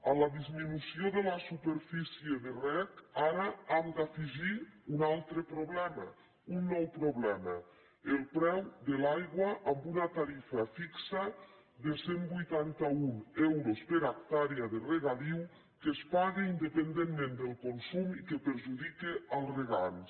a la disminució de la superfície de reg ara hem d’afegir un altre problema un nou problema el preu de l’aigua amb una tarifa fixa de cent i vuitanta un euros per hectàrea de regadiu que es paga independentment del consum i que perjudica els regants